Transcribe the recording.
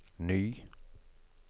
ny